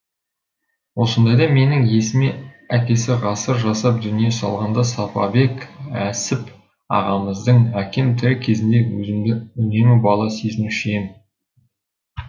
осындайда менің есіме әкесі ғасыр жасап дүние салғанда сапабек әсіп ағамыздың әкем тірі кезінде өзімді үнемі бала сезінуші ем